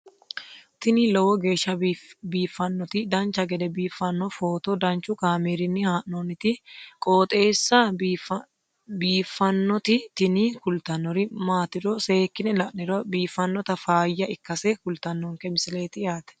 tini lowo geeshsha biiffannoti dancha gede biiffanno footo danchu kaameerinni haa'noonniti qooxeessa biiffannoti tini kultannori maatiro seekkine la'niro biiffannota faayya ikkase kultannoke misileeti yaate